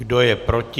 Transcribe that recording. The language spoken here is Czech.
Kdo je proti?